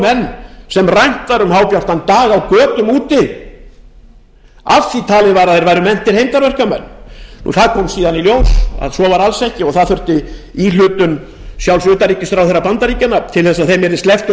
menn sem rænt var um hábjartan dag á götum úti af því talið var að þeir væru meintir hermdarverkamenn það kom síðan í ljós að svo var alls ekki og þurfti íhlutun sjálfs utanríkisráðherra bandaríkjanna til þess að þeim yrði sleppt